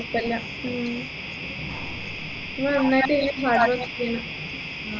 കുഴപ്പില്ല ഉം ഇങ്ങളെ ഉമ്മ